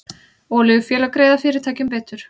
Olíufélög greiða fyrirtækjum bætur